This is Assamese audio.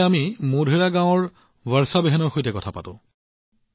এতিয়া আমি মোধেৰা গাঁৱত বৰ্ষাবেনৰ সৈতেও কথা পাতো আহক